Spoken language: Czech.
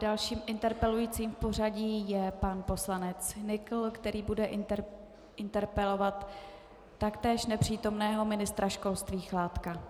Dalším interpelujícím v pořadí je pan poslanec Nykl, který bude interpelovat taktéž nepřítomného ministra školství Chládka.